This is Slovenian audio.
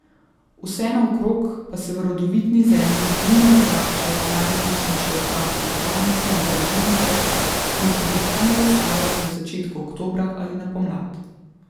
Vse naokrog pa se v rodovitni zemlji bujno razraščajo najrazličnejše okrasne trajnice in grmovnice, ki jih običajno zasajajo v začetku oktobra ali na pomlad.